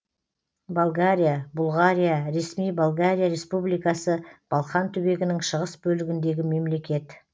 болгария бұлғария ресми болгария республикасы балқан түбегінің шығыс бөлігіндегі мемлекет